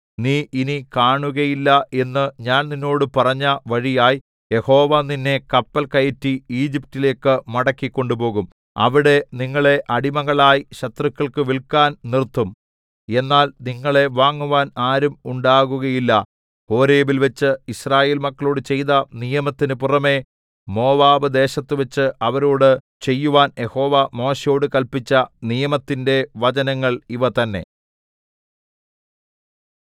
നീ ഇനി കാണുകയില്ല എന്നു ഞാൻ നിന്നോട് പറഞ്ഞ വഴിയായി യഹോവ നിന്നെ കപ്പൽ കയറ്റി ഈജിപ്റ്റിലേക്ക് മടക്കിക്കൊണ്ടുപോകും അവിടെ നിങ്ങളെ അടിമകളായി ശത്രുക്കൾക്കു വില്‍ക്കാൻ നിർത്തും എന്നാൽ നിങ്ങളെ വാങ്ങുവാൻ ആരും ഉണ്ടാകുകയില്ല ഹോരേബിൽവച്ച് യിസ്രായേൽ മക്കളോട് ചെയ്ത നിയമത്തിന് പുറമെ മോവാബ് ദേശത്തുവച്ച് അവരോടു ചെയ്യുവാൻ യഹോവ മോശെയോടു കല്പിച്ച നിയമത്തിന്റെ വചനങ്ങൾ ഇവ തന്നേ